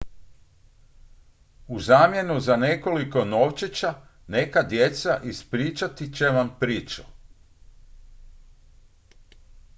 u zamjenu za nekoliko novčića neka djeca ispričat će vam priču